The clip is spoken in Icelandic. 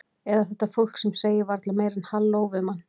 Eða þetta fólk sem segir varla meira en halló við mann.